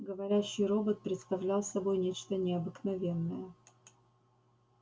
говорящий робот представлял собой нечто необыкновенное